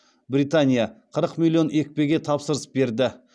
британия қырық миллион екпеге тапсырыс берді